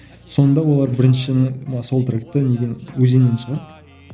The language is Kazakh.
сонда олар біріншіні мына саундтрекпен неден өзеннен шығарды